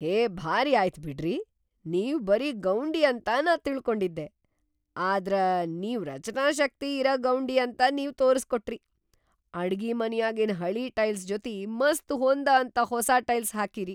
ಹೇ ಭಾರಿ ಆಯ್ತ್ ಬಿಡ್ರಿ, ನೀವ್‌ ಬರೀ ಗೌಂಡಿ ಅಂತ ನಾ ತಿಳ್ಕೊಂಡಿದ್ದೆ ಆದ್ರ ನೀವ್‌ ರಚನಾಶಕ್ತಿ ಇರ ಗೌಂಡಿ ಅಂತ ನೀವ್‌ ತೋರಸ್ಕೊಟ್ರಿ. ಅಡಗಿಮನ್ಯಾಗಿನ್‌ ಹಳೀ ಟೈಲ್ಸ್ ಜೊತಿ‌ ಮಸ್ತ್ ಹೊಂದಅಂಥ ಹೊಸಾ ಟೈಲ್ಸ್ ಹಾಕೀರಿ.